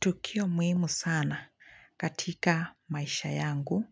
Tukio muhimu sana katika maisha yangu